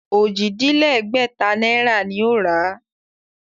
Ojì-dín-lẹ́gbẹ̀ta náírà ni ó rà á